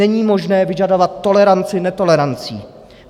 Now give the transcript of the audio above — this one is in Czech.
Není možné vyžadovat toleranci netolerancí.